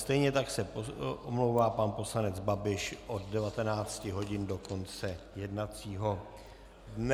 Stejně tak se omlouvá pan poslanec Babiš od 19 hodin do konce jednacího dne.